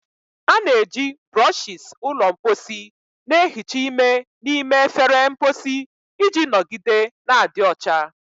A na-eji brushes ụlọ mposi na-ehicha ime n'ime efere mposi iji nọgide na-adị ọcha.